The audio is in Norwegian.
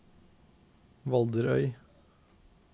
Valderøy